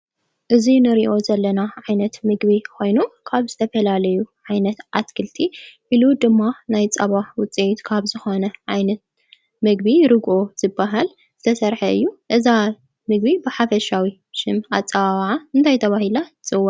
እዚ ንሪኦ ዘለና ዓይነት ምግቢ ኮይኑ ካብ ዝተፈላለዩ ዓይነት ኣትክልቲ ኢሉ ድማ ናይ ፃባ ውፅኢት ካብ ዝኾነ ዓይነት ምግቢ ርግኦ ዝበሃል ዝተሰርሐ እዩ፡፡ እዛ ምግቢ ብሓፈሻዊ ኣፀዋውዓ እንታይ ተባሂላ ትፅዋዕ?